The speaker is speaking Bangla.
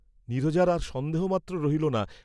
নীরজার আর সন্দেহ মাত্র রহিল না!